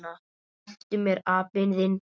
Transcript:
SLEPPTU MÉR, APINN ÞINN!